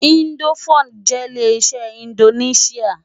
Indófúd jè lé-iṣè indónisiá